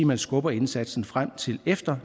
man skubber indsatsen frem til efter